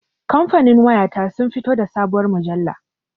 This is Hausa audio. Kamfanin waya ta sun fito da sabuwar mujalla